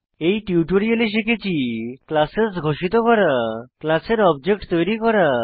এই টিউটোরিয়ালে আমরা শিখেছি ক্লাসেস ঘোষিত করা ক্লাস এর অবজেক্ট তৈরী করা